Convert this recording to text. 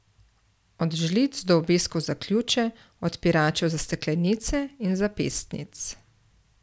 Od žlic do obeskov za ključe, odpiračev za steklenice in zapestnic.